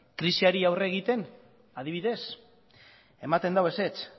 krisiari aurre egiten adibidez ematen du ezetz